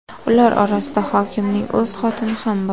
Ular orasida hokimning o‘z xotini ham bor.